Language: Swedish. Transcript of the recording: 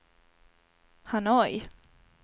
Hanoi